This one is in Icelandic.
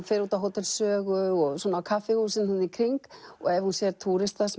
fer út á Hótel Sögu og svona á kaffihúsin í kring og ef hún sér túrista